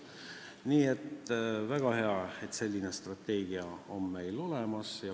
Nii et väga hea, et selline strateegia on meil olemas.